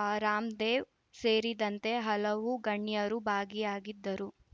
ಆ ರಾಮ್‌ದೇವ್‌ ಸೇರಿದಂತೆ ಹಲವು ಗಣ್ಯರು ಭಾಗಿಯಾಗಿದ್ದರು